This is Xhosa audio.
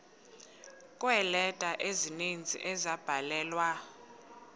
kweeleta ezininzi ezabhalelwa